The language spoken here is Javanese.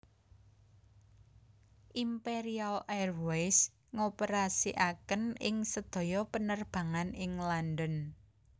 Imperial Airways ngoperasiaken ing sedaya penerbangan ing London